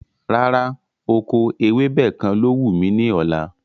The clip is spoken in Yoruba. Rárá, oko ewébẹ̀ kàn ló wù mí ní ọ̀la